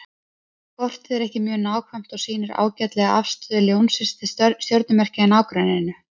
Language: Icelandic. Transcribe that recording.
Kortið er ekki mjög nákvæmt en sýnir ágætlega afstöðu Ljónsins til stjörnumerkja í nágrenninu.